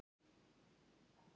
Hann er glaðlyndur maður.